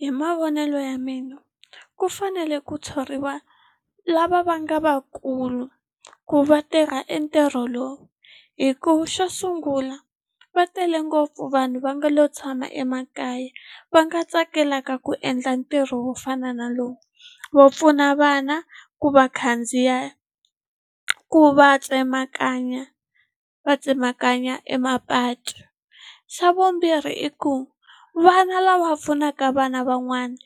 Hi mavonelo ya mina ku fanele ku thoriwa lava va nga vakulu ku va tirha e ntirho lowu hikuva xo sungula va tele ngopfu vanhu va nga lo tshama emakaya va nga tsakelaka ku endla ntirho wo fana na lowu wo pfuna vana ku va khandziya ku va tsemakanya va tsemakanya e mapatu xa vumbirhi i ku vana lava pfunaka vana van'wana